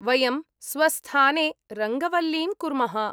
वयं स्वस्थाने रङ्गवल्लीं कुर्मः।